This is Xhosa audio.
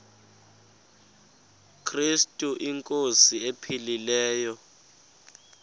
krestu inkosi ephilileyo